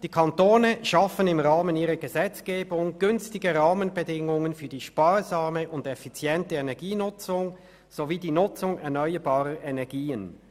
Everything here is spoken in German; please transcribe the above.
«Die Kantone schaffen im Rahmen ihrer Gesetzgebung günstige Rahmenbedingungen für die sparsame und effiziente Energienutzung sowie die Nutzung erneuerbarer Energien.